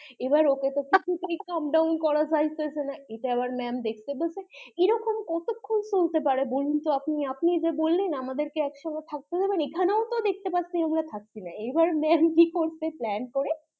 এবার ওকে তো কিছুতেই calm doown করা যাচ্ছে না ইটা আবার ma'am দেখতে পাচ্ছে এরকম কতক্ষন চলতে পারে বলুন তো আপনি, আপনি যে বললেন আমাদের কে একসঙ্গে থাকতে দেবেন এখানেও তো দেখতে পাচ্ছি আমরা থাকছিনা এবার ma'am কি করছে plan করে